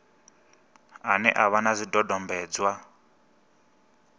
ane a vha na zwidodombedzwa